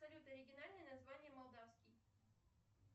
салют оригинальное название молдавский